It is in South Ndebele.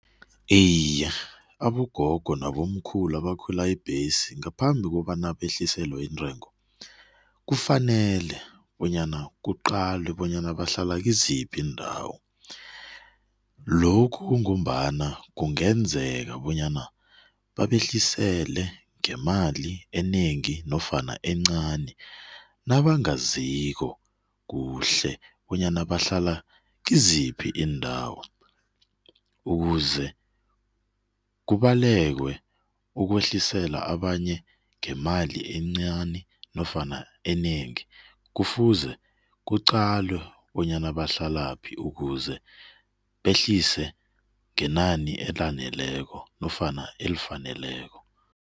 Iye abogogo nabomkhulu abakhwela ibhesi, ngaphambi kobana behliselwe intengo, kufanele bonyana kuqalwe bonyana bahlala kiziphi iindawo. Lokhu kungombana kungenzeka bonyana babehlisele ngemali enengi nofana encani nabangaziko kuhle bonyana bahlala kiziphi iindawo ukuze kubalekwe ukwehlisela abanye ngemali encani nofana enengi. Kufuze kuqalwe bonyana bahlalaphi ukuze behlise ngenani elaneleko nofana elifaneleko.